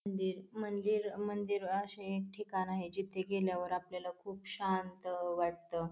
मंदिर मंदिर मंदिर अशे एक ठिकाण आहे जिथे गेल्यावर आपल्याला खूप शांत अ वाटत.